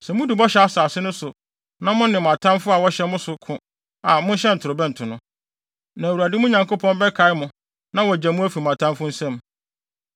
Sɛ mudu Bɔhyɛ Asase no so na mo ne mo atamfo a wɔhyɛ mo so no ko a mohyɛn ntorobɛnto no. Na, Awurade, mo Nyankopɔn bɛkae mo na wagye mo afi mo atamfo nsam.